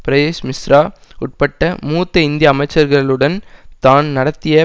பிரயேஷ் மிஸ்ரா உட்பட்ட மூத்த இந்திய அமைச்சர்களுடன்தான் நடத்திய